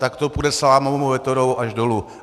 Tak to půjde salámovou metodou až dolů.